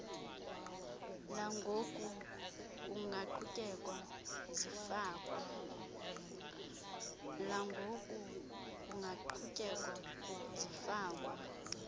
langoku kungaqhutyeka zifakwa